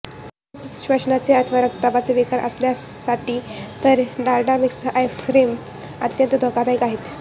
आधीच श्वसनाचे अथवा रक्तदाबाचे विकार असलेल्यांसाठी तर ही डालडामिक्स आईस्क्रीम्स अत्यंत धोकादायक आहेत